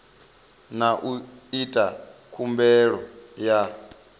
na u ita khumbelo ya